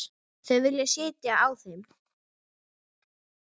Þau vilja sitja á þeim.